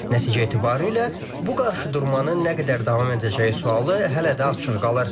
Nəticə etibarilə bu qarşıdurmanın nə qədər davam edəcəyi sualı hələ də açıq qalır.